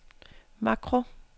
makro